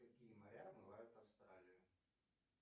какие моря омывают австралию